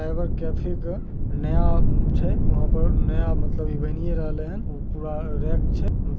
Cyber cafe का नया छे वहाँ पर नया मतलब इवेनर वाले हैन उह पूरा रेक छे।